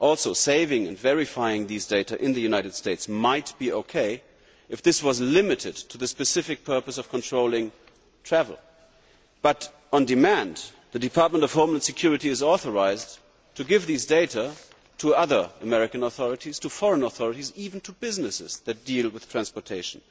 Furthermore, saving and verifying these data in the United States might be okay if this was limited to the specific purpose of controlling travel, but the Department of Homeland Security is authorised to give these data on demand to other American authorities, to foreign authorities, and even to businesses that deal with transportation.